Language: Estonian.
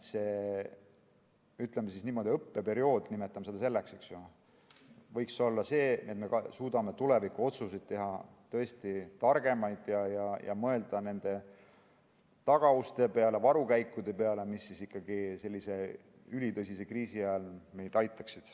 See, ütleme niimoodi, õppeperiood, nimetame seda selleks, võiks olla selline, et me suudaksime teha tõesti targemaid tulevikuotsuseid ja mõelda nende tagauste peale, varukäikude peale, mis ikkagi ülitõsise kriisi ajal meid aitaksid.